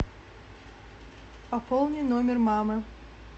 пополни номер мамы